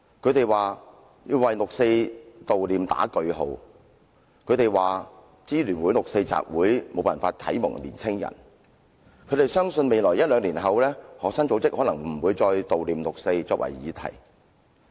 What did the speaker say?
他們說要為悼念六四劃上句號，說香港市民支援愛國民主運動聯合會的六四集會無法啟蒙年青人，亦相信在未來一兩年之後，學生組織可能不會再以"悼念六四"為議題。